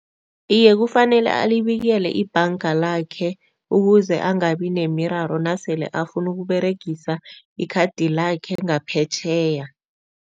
Iye, kufanele alibekele ibhanga lakhe ukuze angabi nemiraro nasele afuna ukuberegisa ikhadi lakhe ngaphetjheya.